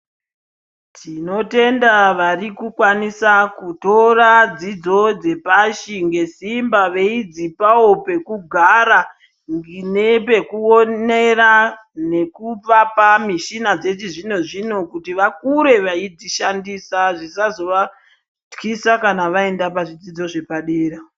Tinotenda vari kukwanisa kutora dzidzo dzepashi ngesimba veidzipawo pekugara nepekuonera nekuvapa mishina dzechizvino-zvino kuti vakure veidzishandisa zvisazovatyisa kana vainda pazvidzidzo zvepadera.